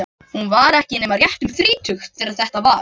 Hún var ekki nema rétt um þrítugt þegar þetta var.